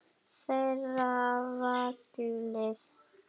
Þeirra er valið.